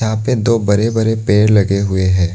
यहां पे दो बड़े बड़े पेड़ लगे हुए है।